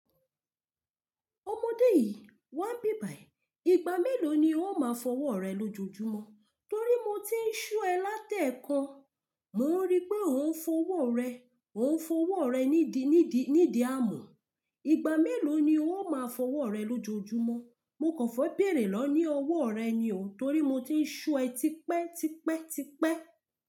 Ọmọdé yìí wá nbíbàì, ìgbà mélòó ni ó máa fọwọ́ rẹ lójojúmọ́? Torí mo ti ń só ẹ látẹ̀ẹ́kan, mò ń rí pé ò ń fọwọ́ rẹ, ò ń fọwọ́ rẹ nídìí, nídìí, nídìí amù. Ìgbà mélòó ni ó máa fọwọ́ rẹ lójojúmọ́? Mo kàn fẹ́ bèrè lọ ní ọwọ́ rẹ ni o, torí mo ti ń só ẹ tipẹ́, tipẹ́, tipẹ́.